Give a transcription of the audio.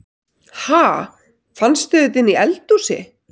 Ha! Fannstu þetta inni í eldhúsi?